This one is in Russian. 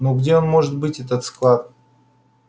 ну где он может быть этот склад